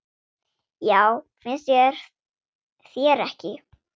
Já, finnst þér ekki?